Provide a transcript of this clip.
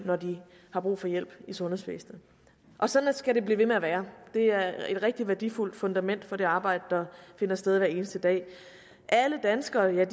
når de har brug for hjælp i sundhedsvæsenet og sådan skal det blive ved med at være det er et rigtig værdifuldt fundament for det arbejde der finder sted hver eneste dag alle danskere